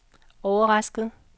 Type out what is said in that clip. overrasket